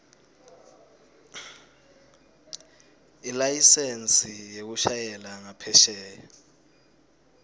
ilayisensi yekushayela ngaphesheya